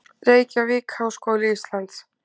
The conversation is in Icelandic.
Reykjavík: Háskóli Íslands.